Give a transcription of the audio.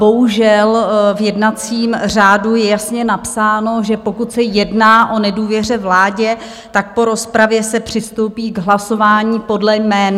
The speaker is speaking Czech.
Bohužel v jednacím řádu je jasně napsáno, že pokud se jedná o nedůvěře vládě, tak po rozpravě se přistoupí k hlasování podle jmen.